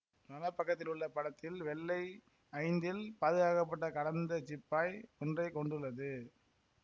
வலப் பக்கத்திலுள்ள படத்தில் வெள்ளை ஐந்தில் பாதுகாக்கப்பட்ட கடந்த சிப்பாய் ஒன்றை கொண்டுள்ளது